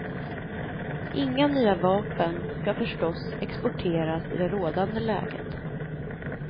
Inga nya vapen ska förstås exporteras i det rådande läget.